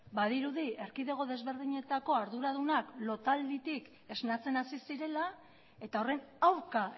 badirudi erkidego desberdinetako arduradunak lotalditik esnatzen hasi zirela eta horren aurka